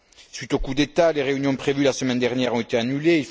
Suite au coup d'État, des réunions prévues la semaine dernière ont été annulées.